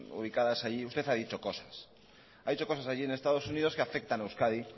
ubicadas allí usted ha dicho cosas ha dicho cosas allí en estados unidos que afectan a euskadi